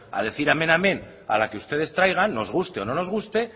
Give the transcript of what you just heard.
a decir amén amén a la que ustedes traigan nos guste o no nos guste